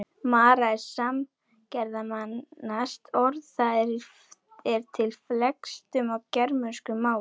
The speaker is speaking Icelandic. Mara er samgermanskt orð, það er til í flestum germönskum málum.